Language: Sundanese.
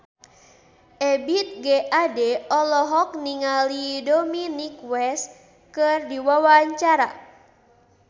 Ebith G. Ade olohok ningali Dominic West keur diwawancara